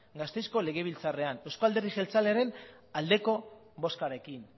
gasteizko legebiltzarrean euzko alderdi jeltzaleen aldeko bozkarekin